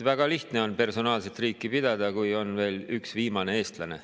Väga lihtne on personaalset riiki pidada, kui on üks viimane eestlane.